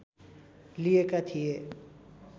लिएका थिए